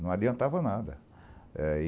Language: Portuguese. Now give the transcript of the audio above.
Não adiantava nada. Aí